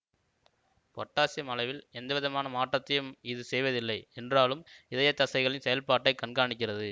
potassium அளவில் எந்தவிதமான மாற்றத்தையும் இது செய்வதில்லை என்றாலும் இதய தசைகளின் செயல்பாட்டைக் கண்காணிக்கிறது